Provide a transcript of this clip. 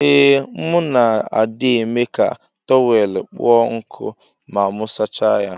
Ee mu na adi eme ka tọwel kpụọ nkụ ma mu sacha ya.